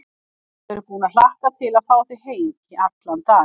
Ég er búin að hlakka til að fá þig heim í allan dag.